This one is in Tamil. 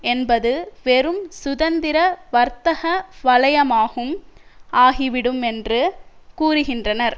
என்பது வெறும் சுதந்திர வர்த்தக வலையமாகும் ஆகிவிடுமென்று கூறுகின்றனர்